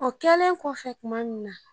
O kɛlen kɔfɛ kuma min na.